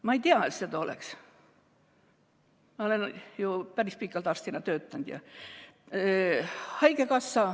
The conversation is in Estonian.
Ma ei tea, et seda oleks, kuigi ma olen päris pikalt arstina töötanud.